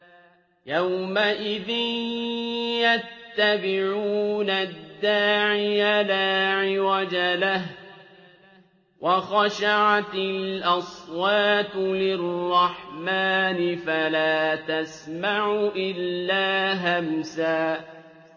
يَوْمَئِذٍ يَتَّبِعُونَ الدَّاعِيَ لَا عِوَجَ لَهُ ۖ وَخَشَعَتِ الْأَصْوَاتُ لِلرَّحْمَٰنِ فَلَا تَسْمَعُ إِلَّا هَمْسًا